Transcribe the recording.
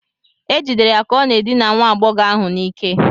E jidere ya ka ọ na-edina nwa agbọghọ ahụ n'ike